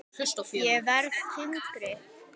Ég verð þyngri.